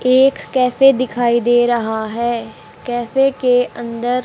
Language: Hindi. एक कैफे दिखाई दे रहा है कैफे के अंदर--